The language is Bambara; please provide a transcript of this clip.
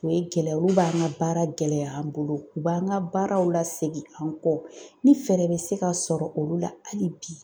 O ye gɛlɛya olu b'an ka baara gɛlɛya an bolo u b'an ka baaraw lasegin an kɔ ni fɛɛrɛ bɛ se ka sɔrɔ olu la hali bi.